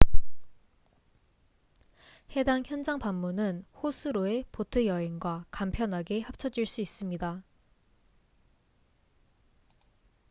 해당 현장 방문은 호수로의 보트 여행과 간편하게 합쳐질 수 있습니다